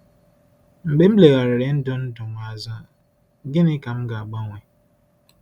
Mgbe m legharịrị ndụ m ndụ m azụ, gịnị ka m ga-agbanwe?